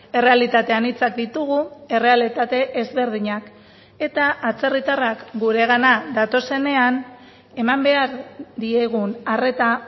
errealitate anitzak ditugu errealitate ezberdinak eta atzerritarrak guregana datozenean eman behar diegun arreta